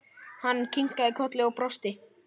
Hann kinkaði kolli og brosti.